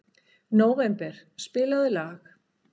Nóvember, spilaðu lag.